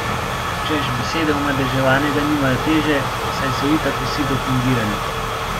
Češ, besede omadeževanega nimajo teže, saj so itak vsi dopingirani.